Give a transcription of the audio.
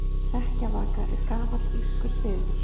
Hrekkjavaka er gamall írskur siður.